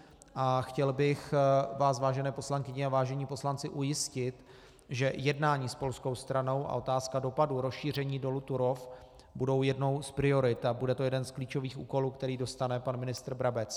A chtěl bych vás, vážené poslankyně a vážení poslanci, ujistit, že jednání s polskou stranou a otázka dopadů rozšíření dolu Turów budou jednou z priorit a bude to jeden z klíčových úkolů, který dostane pan ministr Brabec.